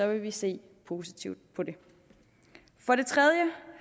vil vi se positivt på det for det tredje